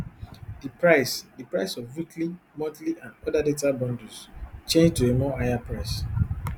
di price di price of weekly monthly and oda data bundles change to a more higher price